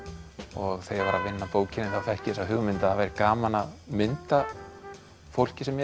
og þegar að vinna að bókinni þá fékk ég þessa hugmynd að það væri gaman að mynda fólkið sem ég